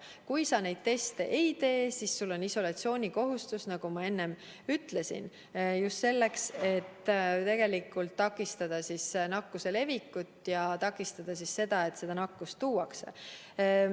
Kui sa testi ei tee, siis on sul isolatsioonikohustus, nagu ma enne ütlesin, just selleks, et takistada nakkuse levikut ja seda, et nakkust riiki tuuakse.